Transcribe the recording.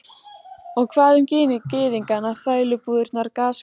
Og hvað um gyðingana, þrælabúðirnar, gasklefana?